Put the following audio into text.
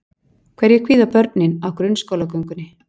Hverju kvíða börnin á grunnskólagöngunni?